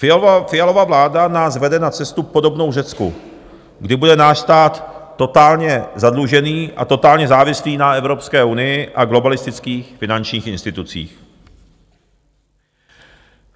Fialova vláda nás vede na cestu podobnou Řecku, kdy bude náš stát totálně zadlužený a totálně závislý na Evropské unii a globalistických finančních institucích.